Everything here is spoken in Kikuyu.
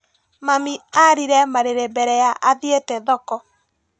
Mami arire marĩre mbere ya athiĩte thoko.